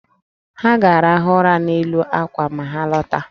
Ha ga-arahụ ụra n’elu àkwà ma ha lọta